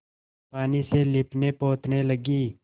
पानी से लीपनेपोतने लगी